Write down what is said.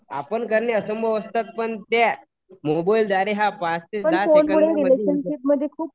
आपण करणं असंभव असतात पण त्या मोबाईलद्वारे हा पाच ते दहा सेकंदामध्ये होऊ शकतो.